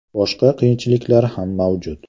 Boshqa qiyinchiliklar ham mavjud.